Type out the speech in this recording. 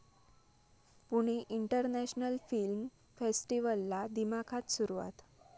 Pune international film फेस्टिव्हलला दिमाखात सुरुवात